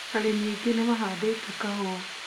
Arĩmi aingĩ nĩ mahandĩte kahũa